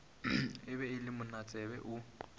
ge e le monatsebe o